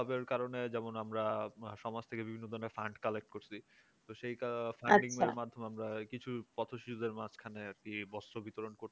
সবের কারণে যেমন আমরা সমাজ থেকে বিভিন্ন ধরণের fundcollect করছি তো মাধ্যমে আমরা কিছু আমরা পথশ্রীদের মাঝখানে আর কি বস্ত্র বিতরণ করছি